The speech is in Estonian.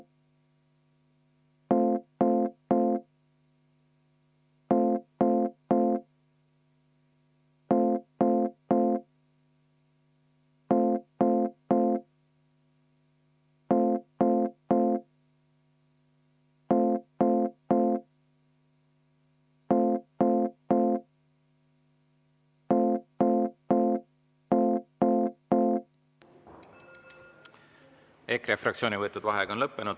EKRE fraktsiooni võetud vaheaeg on lõppenud.